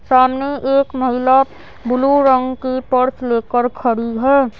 सामने एक महिला ब्लू रंग की पर्स लेकर खड़ी है।